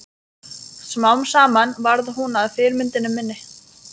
Smám saman varð hún að fyrirmyndinni minni.